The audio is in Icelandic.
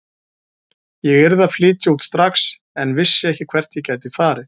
Ég yrði að flytja út strax en vissi ekki hvert ég gæti farið.